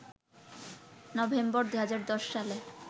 November, ২০১০ সালে